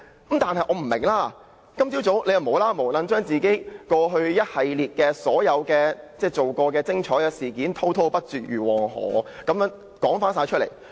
不過，我不明白他今早為何無故將自己過去所做的一系列"精彩"事件滔滔不絕如黃河般說出來。